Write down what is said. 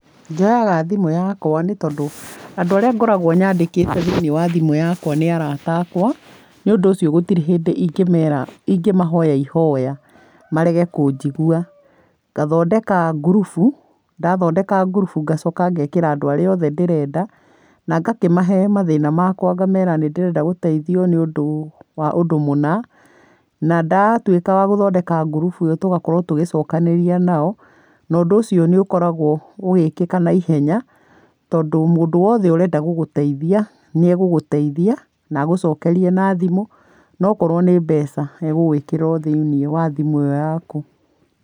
Njoyaga thimũ yakwa nĩtondũ, andũ arĩa ngoragwo nyandĩkĩte thĩiniĩ wa thimũ yakwa. Nĩũndũ ũcio gũtirĩ hĩndĩ ingĩmera ingĩmahoya ihoya, marege kũnjigua. Ngathondeka ngurubu, ndathondeka ngurubu ngacoka ngekĩra andũ arĩaothe ndĩrenda. Nangakĩmahe mathĩ na makwa ngamera nĩndĩrenda gũteithio nĩũndũ, wa ũndũ mũna. Na ndatuĩka wagũthondeka ngurubu ĩo tũgakorwo tũgĩcokanĩria nao . Nondũ ũci onĩũkoragwo ũgũĩkĩka na ihenya, tondũ mũndũ wothwe ũrenda gũgvteithia nĩagũgũteithia nagũcokerie na thimũ, nokorwo nĩ mbeca agũgwĩkĩrĩra othimũ-inĩ ĩo yaku.